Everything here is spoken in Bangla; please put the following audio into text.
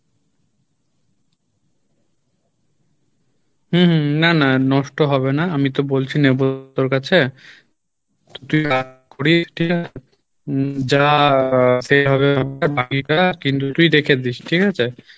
হম হম না না নষ্ট হবে না আমি তো বলছি নেবো তোর কাছে ঠিক আছে রেখে দিস ঠিক আছে?